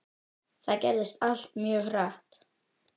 Þetta gerðist allt mjög hratt.